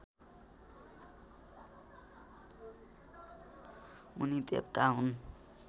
उनी देवता हुन्